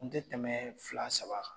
Kun te tɛmɛ fila saba kan.